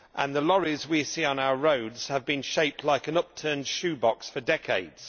The lorries we see on our roads have been shaped like an upturned shoebox for decades.